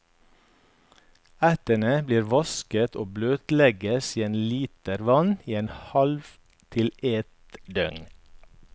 Ertene blir vasket og bløtlegges i en liter vann i et halvt til et døgn.